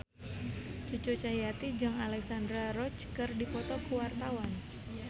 Cucu Cahyati jeung Alexandra Roach keur dipoto ku wartawan